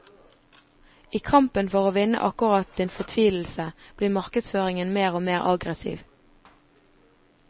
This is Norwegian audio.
I kampen for å vinne akkurat din fortvilelse, blir markedsføringen mer og mer aggressiv.